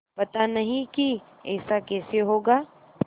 पता नहीं कि ऐसा कैसे होगा